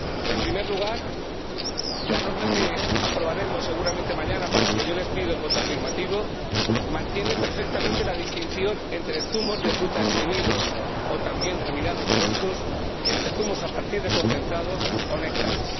En primer lugar, la norma que aprobaremos seguramente mañana, para la que yo les pido el voto a favor, mantiene perfectamente la distinción entre los zumos de fruta exprimidos —también denominados frescos—, los zumos a partir de concentrados y los néctares.